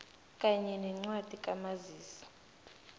kanye nencwadi kamazisi